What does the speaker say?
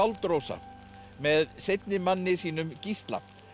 Rósa með seinni manni sínum Gísla